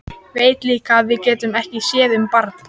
Veit líka að við getum ekki séð um barn.